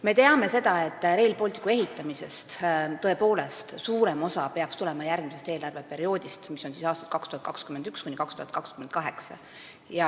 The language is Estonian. Me teame, et suurem osa Rail Balticu ehitamiseks vajalikust summast peaks tulema järgmisest eelarveperioodist, mis on siis aastad 2021–2028.